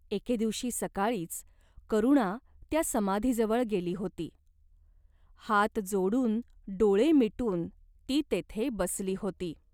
एके दिवशी सकाळीच करुणा त्या समाधीजवळ गेली होती. हात जोडून डोळे मिटून ती तेथे बसली होती.